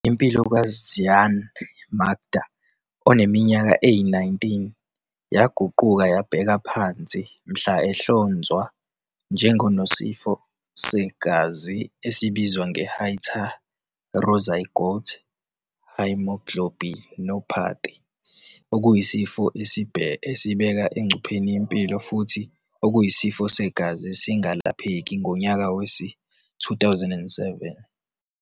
Impilo ka-Zyaan Makda, one minyaka eyi-19, yaguquka yabheka phansi mhla ehlonzwa njengonesifo segazi esibizwa nge-heterozygote haemoglobinopathy, okuyisifo esibeka engcupheni impilo futhi okuyisifo segazi esingalapheki, ngonyaka wezi-2007.